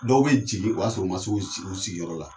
Dɔw bɛ jigin o y'a sɔrɔ o ma se u sigiyɔrɔ la!